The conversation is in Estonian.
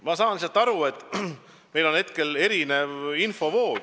Ma saan praegu asjast lihtsalt nii aru, et meie kasutada on erinevad infovood.